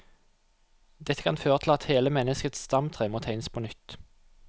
Dette kan føre til at hele menneskets stamtre må tegnes på nytt.